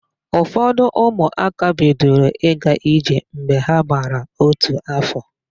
Ụfọdụ ụmụaka bidoro ịga ije mgbe ha gbara ótù áfọ̀.